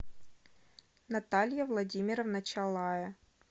наталья владимировна чалая